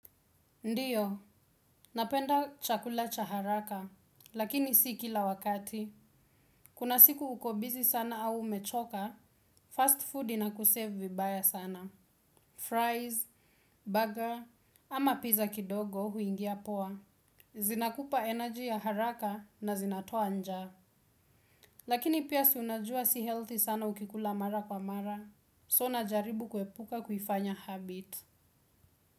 Ndiyo, napenda chakula cha haraka, lakini si kila wakati. Kuna siku uko busy sana au umechoka, fastfood inakusave vibaya sana. Fries, burger, ama pizza kidogo huingia poa. Zinakupa energy ya haraka na zinatoa njaa. Lakini pia si unajua si healthy sana ukikula mara kwa mara. So najaribu kuepuka kufanya habit.